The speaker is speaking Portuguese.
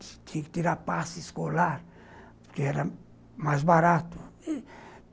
Tinha que ter a passe escolar, que era mais barato.